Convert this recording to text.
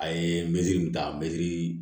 A ye mɛtiri nin ta mɛtiri